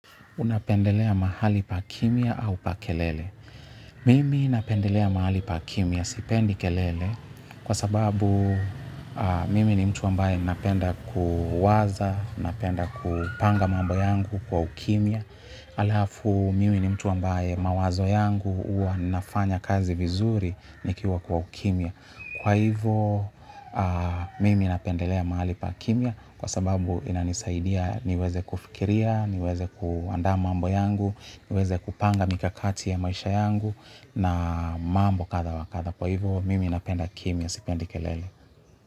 Unapendelea mahali pa kimya au pa kelele. Mimi ninapendelea mahali pa kimya, sipendi kelele, kwa sababu mimi ni mtu ambaye napenda kuwaza, napenda kupanga mambo yangu kwa ukimya. Alafu mimi ni mtu ambaye mawazo yangu huwa nafanya kazi vizuri nikiwa kwa ukimya. Kwa hivo mimi napendelea mahali pa kimua kwa sababu inanisaidia niweze kufikiria, niweze kuandaa mambo yangu niweze kupanga mikakati ya maisha yangu na mambo katha wa katha. Kwa hivo mimi napenda kimya, sipendi kelele.